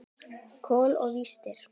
Kol og vistir.